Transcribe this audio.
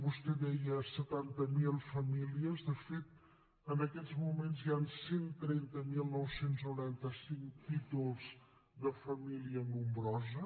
vostè deia setanta mil famílies de fet en aquests moments hi han cent i trenta mil nou cents i noranta cinc títols de família nombrosa